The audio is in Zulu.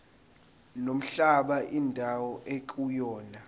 nomhlaba indawo ekuyona